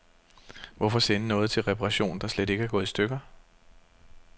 Hvorfor sende noget til reparation, der slet ikke er gået i stykker.